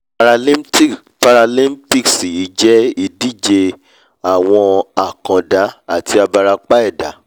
paralimpics yìí jẹ́ ìdíje àwọn àkàndá àti abarapa ẹ̀dá